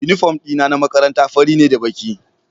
Uniform dina na makaranta fari ne da baki